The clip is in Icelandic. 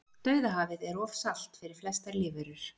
Dauðahafið er of salt fyrir flestar lífverur.